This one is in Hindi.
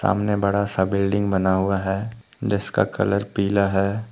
आमने बड़ा सा बिल्डिंग बना हुआ है जिसका कलर पीला है।